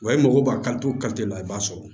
Wa i mago b'a kanto la i b'a sɔrɔ